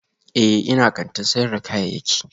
Ee, ina kantin sayar da kayayyaki